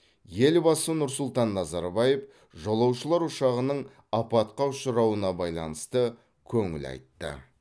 елбасы нұр сұлтан назарбаев жолаушылар ұшағының апатқа ұшырауына байланысты көңіл айтты